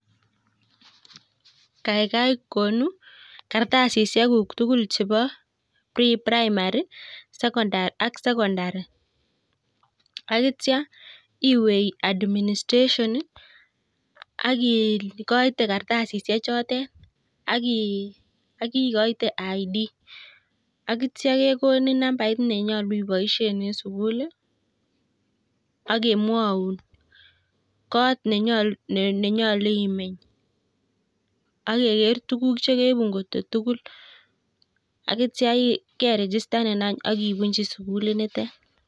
Kaigai kartasisiekuk tugul chebo preprimary, ak sekondari ak yeityo iwe administration akikoite kartasisiek chotet ak ikoite kipande ak yeti nambait nenyolu iboishoen en sugul I ak kemwoun kot nenyolu imeny ak ke geer angoto keibu tuguk tugul ak ityo kesirun ibunyii sukulit notet